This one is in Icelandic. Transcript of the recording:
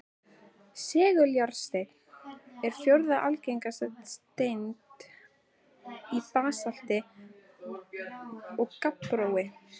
Seguljárnsteinn er fjórða algengasta steind í basalti og gabbrói.